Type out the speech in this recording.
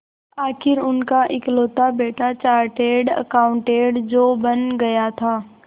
आखिर उनका इकलौता बेटा चार्टेड अकाउंटेंट जो बन गया था